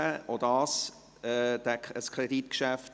auch dies ist ein Kreditgeschäft.